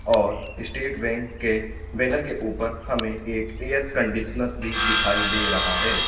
और state bank के banner के ऊपर हमें एक एयर कंडीशनर भी दिखाई दे रहा है।